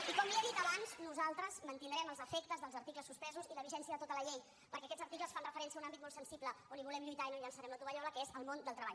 i com li he dit abans nosaltres mantindrem els efectes dels articles suspesos i la vigència de tota la llei perquè aquests articles fan referència a un àmbit molt sensible en què volem lluitar i no llançarem la tovallola que és el món del treball